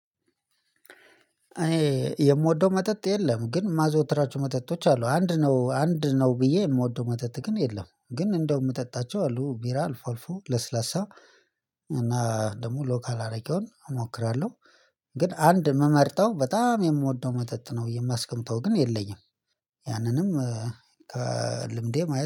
የምወደው መጠጥ የለም ግን ማዘወትራቸው መጠጦች አሉ አንድ ነው አንድ ነው ብዬ የምወደው መተት ግን የለም ግን እንደው የምጠጣቸው አሉ ቢራ ለስላሳ እና ደግሞ ሎካል አረጋውን እሞክራለሁ። ግን አንድ የምመርጠው በጣም የምወደው መተት ነው የማስቀምጠው ግን የለኝም። ያንንም ከልምዴ ማየት